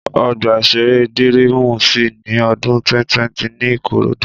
Ọgbà-ìṣeré Dírímù ṣí ní odún 2020 ní Ìkòròdú